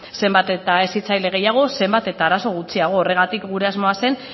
zenbat eta hezitzaile gehiago zenbat eta arazo gutxiago horregatik gure asmoa zen